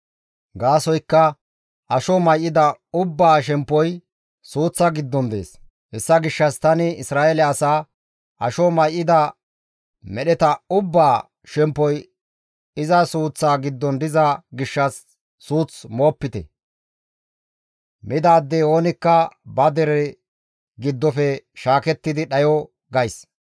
Gaasoykka asho may7ida ubbaa shemppoy suuththa giddon dees; hessa gishshas tani Isra7eele asaa, ‹Asho may7ida medheta ubbaa shemppoy iza suuththa giddon diza gishshas suuth moopite; midaadey oonikka ba dere giddofe shaaketti dhayo› gays.